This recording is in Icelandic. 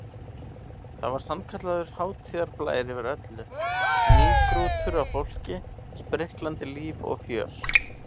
Það var sannkallaður hátíðarblær yfir öllu, mýgrútur af fólki, spriklandi líf og fjör.